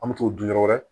An bɛ t'o dun yɔrɔ wɛrɛ